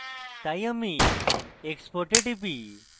তাই আমি export এ টিপি